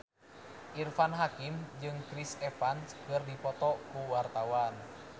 Irfan Hakim jeung Chris Evans keur dipoto ku wartawan